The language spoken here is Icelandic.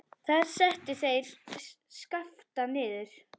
Þar settu þeir Skapta niður.